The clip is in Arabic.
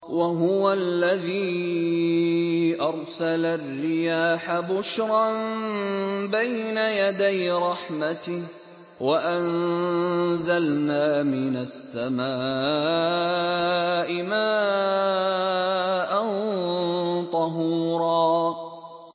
وَهُوَ الَّذِي أَرْسَلَ الرِّيَاحَ بُشْرًا بَيْنَ يَدَيْ رَحْمَتِهِ ۚ وَأَنزَلْنَا مِنَ السَّمَاءِ مَاءً طَهُورًا